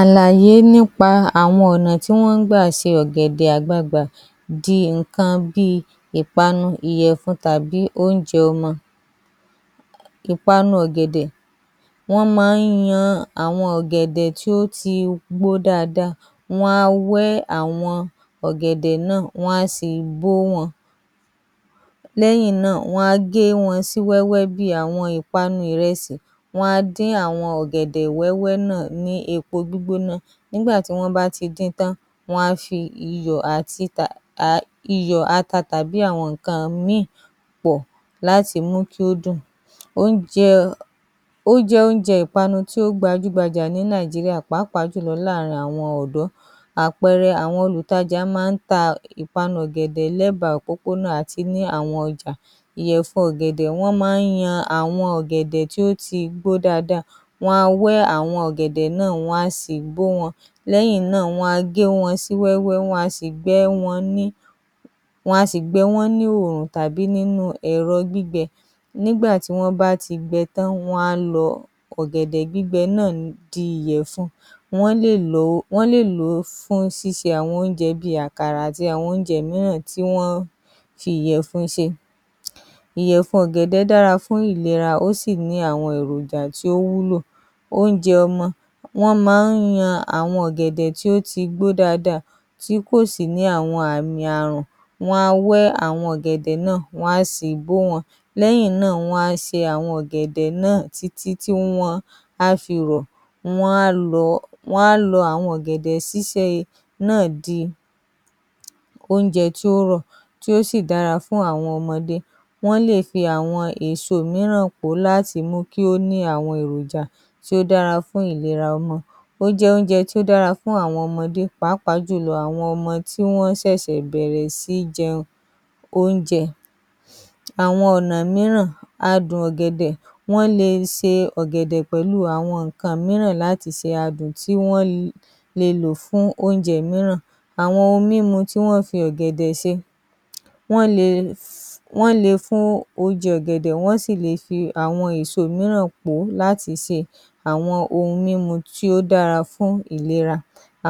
Alàyé nipa ọ̀nà tí wọ́n ń gbà ṣe ọ̀gẹ̀dẹ̀ di nǹkan bíi ìpanu, ìyẹ̀fun tàbí oúnjẹ ọmọ. Ìpanu ọ̀gẹ̀dẹ̀ :wọ́n máa ń yan ọ̀gẹ̀dẹ̀ tó ti gbó dáadáa wọ́n á wá wẹ́ àwọn ọ̀gẹ̀dẹ̀ náà, wọn a sì bó wọn lẹ́yìn náà wọ́n á gé wọn sí wẹ́wẹ́ bíi ìpanu ìrẹsì, wọ́n á dín àwọn ọ̀gẹ̀dẹ̀ wẹ́wẹ́ náà ní epo gbígbóná nígbà tí wọ́n bá ti dín in tán wọ́n a fi iyọ̀, ata tàbí àwọn nǹkan míì pọ̀ láti mú kí ó dùn,ó jẹ́ oúnjẹ ìpanu kan tó gbajúgbajà ní Nàìjíríà, pàápàá jù lọ láàárín àwọn ọ̀dọ́, àpẹẹrẹ àwọn olùtajà máa ń ta ìpanu lẹ́bàá òpópónà àti ní àwọn ọjà, ìyẹ̀fun ọ̀gẹ̀dẹ̀ wọ́n máa ń yan àwọn ọ̀gẹ̀dẹ̀ tó ti gbó dáadáa wọ́n á wẹ́ àwọn ọ̀gẹ̀dẹ̀ náà, wọn a sì bó wọn lẹ́yìn náà wọn a bó wọn sí wẹ́wẹ́ wọn a sì gbẹ wọ́n ní oòrùn tàbí ẹ̀rọ gbígbẹ nígbà tí wọ́n bá ti gbẹ tán wọn a lọ̀ ọ̀gẹ̀dẹ̀ gbígbẹ náà di ìyẹ̀fun wọ́n lè lò ó fún ṣíṣe àwọn oúnjẹ bíi àkàrà àti àwọn oúnjẹ mìíràn tí wọ́n ń fi ìyẹ̀fun ṣe ìyẹ̀fun ọ̀gẹ̀dẹ̀ dára fún ìlera ó sì ní àwọn èròjà tó wúlò. Oúnjẹ ọmọ: wọ́n máa ń lo àwọn ọ̀gẹ̀dẹ̀ tó ti gbó dáadáa tí kò sì ní àwọn àmì Ààrùn, wọ́n á wẹ́ ọ̀gẹ̀dẹ̀ náà, wọ́n á sì bó wọn lẹ́yìn náà wọ́n á se àwọn ọ̀gẹ̀dẹ̀ náà títí tí wọ́n á fi rọ̀, wọ́n á lọ àwọn ọ̀gẹ̀dẹ̀ ṣíṣe náà di oúnjẹ tí oúnjẹ tí ó rọ̀ tí ó sì dára fún àwọn ọmọdé, wọ́n á fi àwọn èso mìíràn pò ó láti mú kí ó dára fún àwọn èròjà tí ó dára fún ìlera ọmọ, ó jẹ́ oúnjẹ tó dára fún àwọn ọmọdé pàápàá àwọn ọmọ tó ṣẹ̀ṣẹ̀ bẹ̀ẹ̀rẹ̀ sí í jẹ oúnjẹ, àwọn ọ̀nà mìíràn adùn ọ̀gẹ̀dẹ̀ :wọ́n le ṣe ọ̀gẹ̀dẹ̀ pẹ̀lú àwọn nǹkan mìíràn láti fi adùn tí wọ́n le lò fún oúnjẹ mìíràn, àwọn ohun mímu tí wọ́n ń fi ọ̀gẹ̀dẹ̀ ṣe, wọ́n le fún oúnjẹ ọ̀gẹ̀dẹ̀ wọ́n sì le fi àwọn èso mìíràn pò ó lati se awon ohun mímu tí ó dára fún ìlera,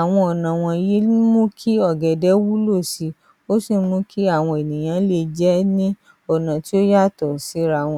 àwọn ọ̀nà wọ̀nyí ni ó ń mú kí àwọn ọ̀gẹ̀dẹ̀ wúlò sí i ó sì mú kí àwọn ènìyàn lè jẹ́ ní àwọn ọ̀nà tó yàtọ̀ síra. ‎